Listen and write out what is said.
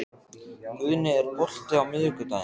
Guðni, er bolti á miðvikudaginn?